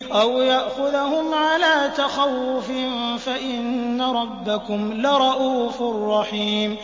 أَوْ يَأْخُذَهُمْ عَلَىٰ تَخَوُّفٍ فَإِنَّ رَبَّكُمْ لَرَءُوفٌ رَّحِيمٌ